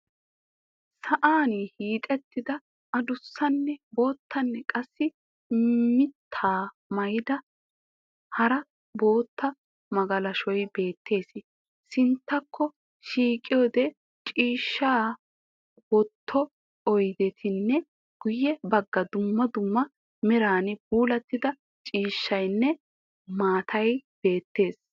sa"an hiixxettida adusanne boottanne qassi mittaa maayida hara bootta magalashshay beettees. sinttakko shiiqiyode ciishshaa wotto oydetinne guye bagga dumma dumma meran puulatida ciishshaynne maatay beettees.